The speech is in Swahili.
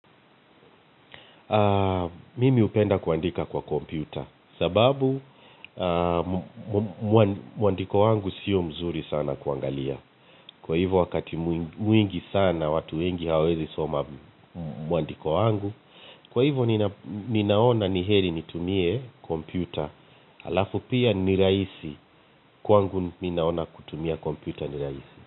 Mimi hupenda kuandika kwa kompyuta. Sababu, muandiko wangu sio mzuri sana kuangalia. Kwa hivyo wakati mwingi sana watu wengi hawezi soma muandiko wangu. Kwa hivyo nina. Ninaona ni heri nitumie kompyuta. Alafu pia ni rahisi, kwangu ninaona kutumia kompyuta ni rahisi.